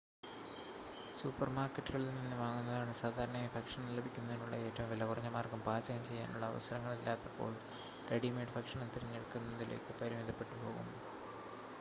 സൂപ്പർമാർക്കറ്റുകളിൽ നിന്ന് വാങ്ങുന്നതാണ് സാധാരണയായി ഭക്ഷണം ലഭിക്കുന്നതിനുള്ള ഏറ്റവും വിലകുറഞ്ഞ മാർഗ്ഗം പാചകം ചെയ്യാനുള്ള അവസരങ്ങളില്ലാത്തപ്പോൾ റെഡിമെയ്‌ഡ് ഭക്ഷണം തിരഞ്ഞെടുക്കുന്നതിലേക്ക് പരിമിതപ്പെട്ടു പോകും